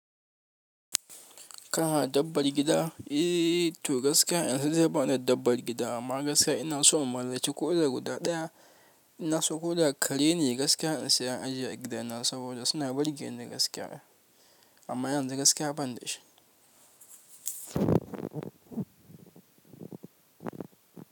Kana dabbar gida? Eeyy to gaskiya yanzu dai ba da dabbar gida amma gaskiya ina so in mallaki ko ɗa guda ɗaya. Ina so koɗa kare ne gaskiya in saya ajiye a gidana saboda suna burge ni gaskiya amma yanzu gaskiya bani da shi.